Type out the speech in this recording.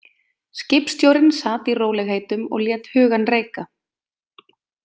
Skipstjórinn sat í rólegheitum og lét hugann reika.